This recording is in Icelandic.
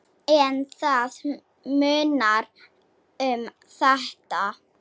En það munar um þetta.